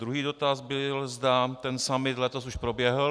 Druhý dotaz byl, zda ten summit letos už proběhl.